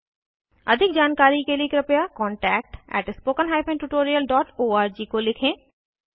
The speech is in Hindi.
अधिक जानकारी के लिए कृपया contactspoken tutorialorg को लिखें